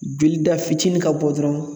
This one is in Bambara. Jolida fitini ka bɔ dɔrɔn